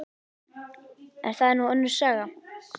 En það er nú önnur saga.